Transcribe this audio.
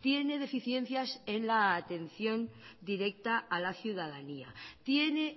tiene deficiencias en la atención directa a la ciudadanía tiene